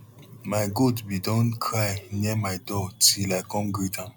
my goat bin don cry near my door till i come greet am